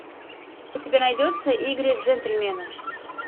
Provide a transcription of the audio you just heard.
у тебя найдется игры джентльменов